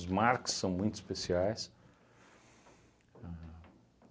Marques são muito especiais. Ahn